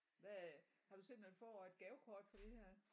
Hvad har du set man får et gavekort for det her?